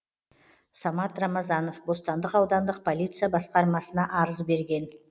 самат рамазанов бостандық аудандық полиция басқармасына арыз берген